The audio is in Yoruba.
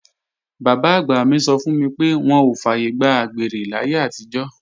Bàbá-àgbà mi sọ fún mi pé wọn ò fàyègbà àgbèrè láyé àtijọ́